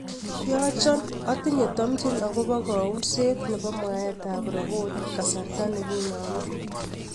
yochon otinye tomjin agopo kounzeet nepo mwaet ab roboti kasarta neginome